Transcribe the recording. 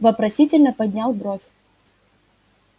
вопросительно поднял бровь